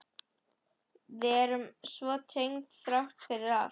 Við erum svo tengd þrátt fyrir allt.